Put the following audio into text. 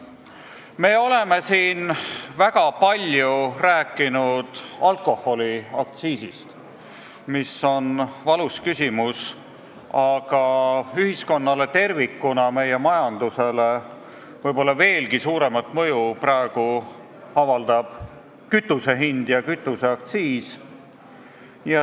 Me oleme siin väga palju rääkinud alkoholiaktsiisist, mis on valus küsimus, aga ühiskonnale tervikuna ja meie majandusele avaldab praegu võib-olla veelgi suuremat mõju kütuse hind ja aktsiis.